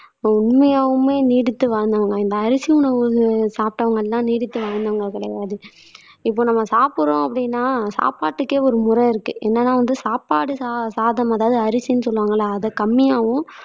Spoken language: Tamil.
உண்மையாவுமே நீடித்து வாழ்ந்தாங்களாம் இந்த அரிசி உணவு சாப்பிட்டவங்கதான் நீடித்து வாழ்ந்தாங்க கிடையாது. இப்ப நம்ம சாப்பிடுறோம் அப்படின்னா சாப்பாட்டுக்கே ஒருமுறை இருக்கு என்னதான் வந்து சாப்பாடு சா சாதம் அதாவது அரிசின்னு சொல்லுவாங்கல்ல அத கம்மியாவும்